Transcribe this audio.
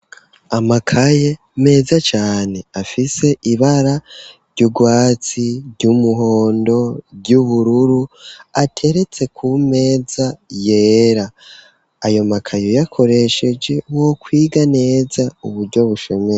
Amakaye meza cane afise ibara ry'ugwatsi ry'umuhondo ry'ubururu ateretse ku meza yera ayo makaye uyakoresheje wo kwiga neza uburyo bushemeye.